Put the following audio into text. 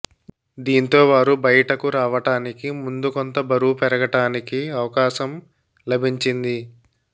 దీంతో వారు బయటకు రావటానికి ముందు కొంత బరువు పెరగటానికి అవకాశం లభించింది